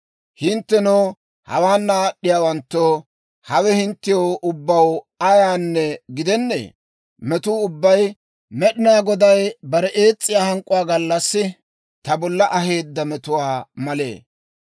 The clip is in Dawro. Hinttenoo, hawaana aad'd'iyaawanttoo, hawe hinttew ubbaw ayaanne gidennee? Metuu ubbay Med'inaa Goday bare ees's'iyaa hank'k'uwaa gallassi ta bolla aheedda metuwaa malee?